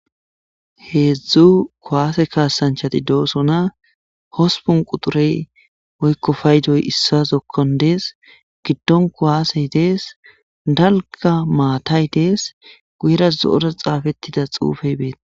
Heedzdzu kuwaase kaasanchati doosona hospun quxurey woykko faydoy issa zokkon dees giddon kowaasey dees dalga maatay dees guyera zo7oras xaafettida xuufey beeta.